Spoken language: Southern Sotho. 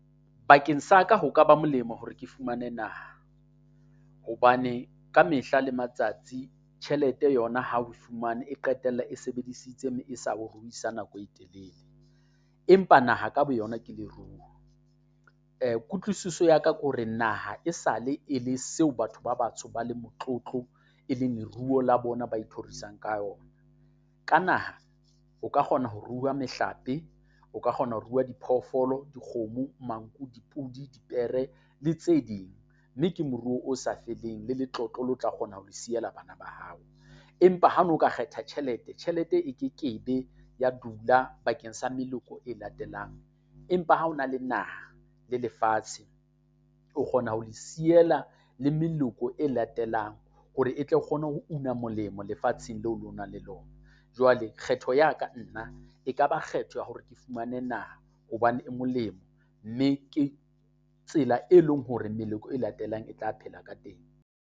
Bakeng sa ka ho ka ba molemo hore ke fumane naha, hobane ka mehla le matsatsi tjhelete yona ha oe fumane e qetella e sebedisitse mme e sa ho ruisa nako e telele. Empa naha ka boyona ke leruo, kutlwisiso ya ka ko re naha e sale e le seo batho ba batsho ba le motlotlo e leng leruo la bona ba ithorisang ka ona. Ka naha o ka kgona ho rua mehlape, o ka kgona ho rua diphoofolo, dikgomo, manku, dipudi, dipere le tse ding, mme ke moruo o sa feleng, le letlotlo le tla kgona ho le siela bana ba hao. Empa ha no ka kgetha tjhelete, tjhelete e kekebe ya dula bakeng sa meloko e latelang empa ha o na le naha le lefatshe, o kgona ho le siela le meloko e latelang hore e tlo kgone ho una molemo lefatsheng leo le o na le lona. Jwale kgetho ya ka nna e ka ba kgetho ya hore ke fumane naha hobane e molemo, mme ke tsela e leng hore meloko e latelang e tla phela ka teng.